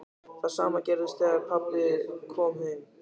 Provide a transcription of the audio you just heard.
Það sama gerðist þegar pabbi kom heim.